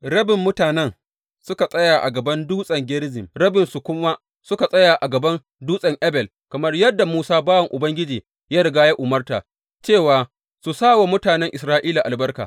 Rabin mutanen suka tsaya a gaban Dutsen Gerizim, rabinsu kuma suka tsaya a gaban Dutsen Ebal, kamar yadda Musa bawan Ubangiji ya riga ya umarta, cewa su sa wa mutanen Isra’ilawa albarka.